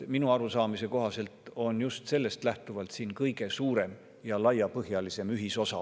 Minu arusaamise kohaselt on just sellest lähtuvalt siin olemas kõige suurem ja laiapõhjalisem ühisosa.